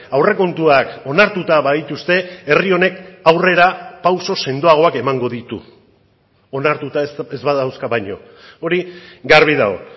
aurrekontuak onartuta badituzte herri honek aurrerapauso sendoagoak emango ditu onartuta ez badauzka baino hori garbi dago